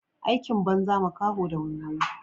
Aikin banza makaho da waiwaye.